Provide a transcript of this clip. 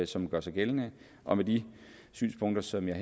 som gør sig gældende og med de synspunkter som jeg